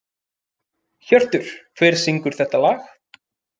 Hjörtur, hver syngur þetta lag?